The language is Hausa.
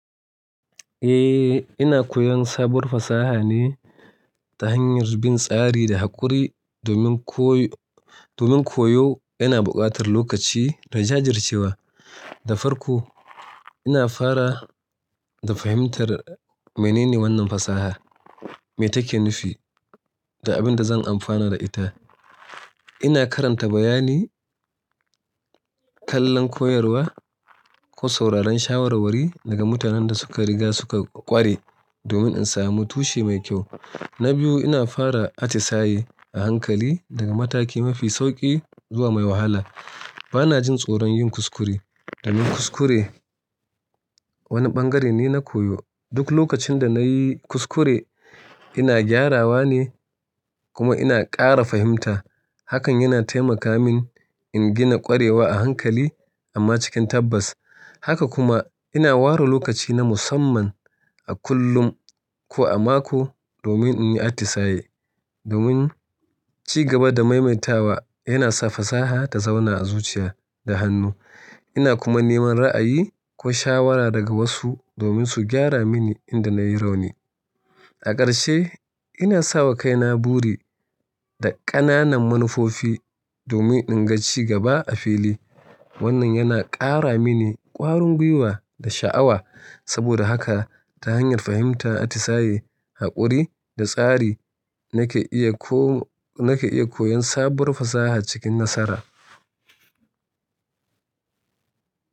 Eh, ina koyon sabuwar fasaha ne ta hanyar bin tsari da haƙuri domin koyo. Ina buƙatar lokaci da jajircewa. Da farko ina fara da fahimtar menene wannan fasaha, me take nufi da abin da zan amfana da ita. Ina karanta bayani, kallon koyarwa ko sauraron shawarwari daga mutanen da suka riga suka ƙware domin in samu tushe mai kyau. Na biyu, ina fara atisaye a hankali daga mataki mafi sauƙi zuwa mai wahala. Bana jin tsoron yin kuskure. Domin kuskure wani ɓangare ne na koyo. Duk lokacin da na yi kuskure ina gyarawa ne kuma ina ƙara fahimta. Hakan yana taimaka min in gina ƙwarewa a hankali amma cikin tabbas. Haka kuma ina ware lokaci na musamman a kullum ko a mako domin in yi atisaye. Domin ci gaba da maimaitawa yana sa fasaha ta zauna a zuciya da hannu. Ina kuma neman ra'ayi ko shawara daga wasu domin su gyara mini inda na yi rauni. A ƙarshe ina sa wa kaina buri da ƙananan manufofi domin in ga ci gaba a fili. Wannan yana ƙara mini ƙwarin gwiwa da sha'awa. Saboda haka ta hanyar fahimta, atisaye, haƙuri da tsari nake iya koyon sabuwar fasaha cikin nasara.